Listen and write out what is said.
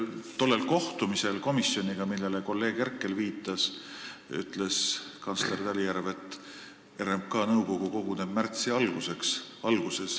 Tollel kohtumisel komisjoniga, millele kolleeg Herkel viitas, ütles kantsler Talijärv, et RMK nõukogu koguneb märtsi alguses.